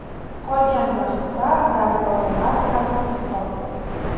Qolgan vaqtda darvozalar dahlsiz qoldi.